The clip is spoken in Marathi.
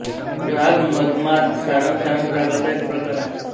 राग मधमाद सारंग सारंग रागाचा एक प्रकार आहे